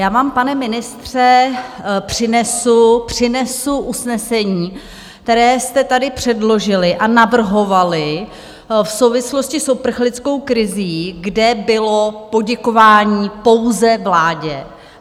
Já vám, pane ministře, přinesu usnesení, které jste tady předložili a navrhovali v souvislosti s uprchlickou krizí, kde bylo poděkování pouze vládě.